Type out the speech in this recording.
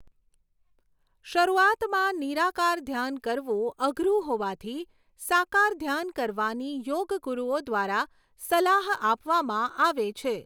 શરૂઆતમાં નિરાકાર ધ્યાન કરવું અઘરું હોવાથી સાકાર ધ્યાન કરવાની યોગગુરૂઓ દ્વારા સલાહ આપવામાં આવે છે.